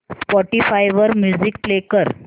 Spotify वर music play कर